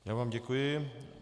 Já vám děkuji.